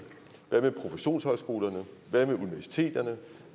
hvad med professionshøjskolerne hvad med universiteterne